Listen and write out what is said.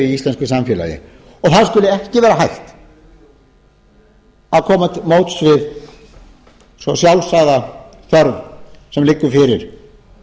íslensku samfélagi og þá skuli ekki vera hægt að koma til móts við svo sjálfsagða þörf sem liggur fyrir